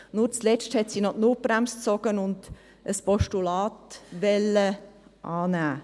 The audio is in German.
Nur zuletzt hat sie noch die Notbremse gezogen und will ein Postulat annehmen.